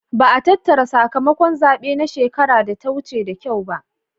Ba'a tattara sakamakon zabe na shekara da ta wuce da kyau ba.